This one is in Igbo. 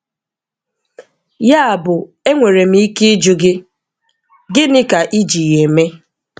Yabụ enwere m ike ịjụ gị: gịnị ka I ji ya eme?